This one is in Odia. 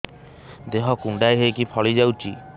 ଦେହ କୁଣ୍ଡେଇ ହେଇକି ଫଳି ଯାଉଛି